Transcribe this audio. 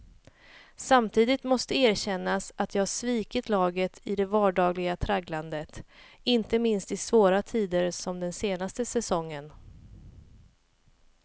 Samtidigt måste erkännas att jag svikit laget i det vardagliga tragglandet, inte minst i svåra tider som den senaste säsongen.